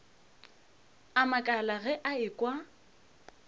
a makala ge a ekwa